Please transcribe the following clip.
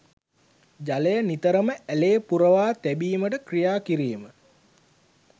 ජලය නිතරම ඇළේ පුරවා තැබීමට කි්‍රයා කිරීම